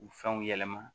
U fɛnw yɛlɛma